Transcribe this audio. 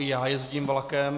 I já jezdím vlakem.